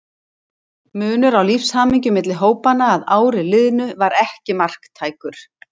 Munur á lífshamingju milli hópanna að ári liðnu var ekki marktækur.